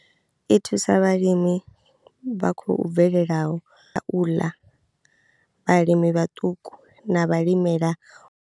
I thusa vhalimi vha khou bvelelaho, u ḽa, vhalimi vhaṱuku na vhalimela.